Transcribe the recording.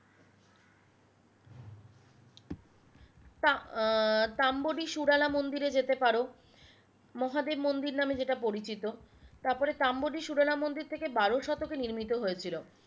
তা আহ তাম্বরি সুরেলা মন্দিরে যেতে পারো মহাদেব মন্দির মানে যেটা পরিচিত তারপর তাম্বরি সুরেলা মন্দির থেকে বারো শতকে নির্মিত হয়েছিলো